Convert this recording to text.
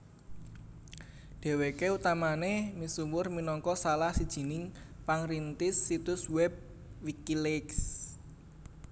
Dhèwèké utamané misuwur minangka salah sijining pangrintis situs wèb Wikileaks